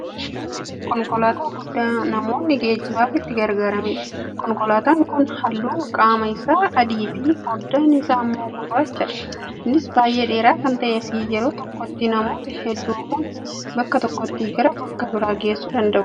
Konkolaataa guddaa namoonni geejjibaaf itti gargaaramanidha. Konkolaataan kun haalluun qaama isaa adiifi fooddaan isaa ammoo gurraachadha. Innis baay'ee dheeraa kan ta'eefi yeroo tokkotti namoota hedduu kan bakka tokkoo gara bakka biraa geessuu danda'udha.